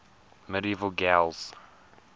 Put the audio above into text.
medieval gaels